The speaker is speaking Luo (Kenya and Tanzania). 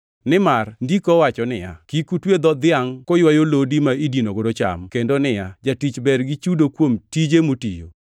Nimar Ndiko owacho niya, “Kik utwe dho dhiangʼ kaywayo lodi ma idinogo cham,” + 5:18 \+xt Rap 25:4\+xt* kendo niya, “Jatich ber gi chudo kuom tije motiyo.” + 5:18 \+xt Luk 10:7\+xt*